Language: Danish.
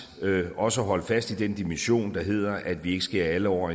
også at holde fast i den dimension der hedder at vi ikke skærer alle over